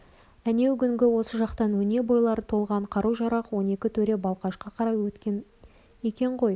әнеугүні осы жақтан өне бойлары толған қару-жарақ он екі төре балқашқа қарай өткен екен ғой